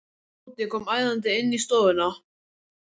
Tóti kom æðandi inn í stofuna.